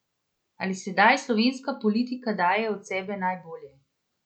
Ali sedaj slovenska politika daje od sebe najbolje?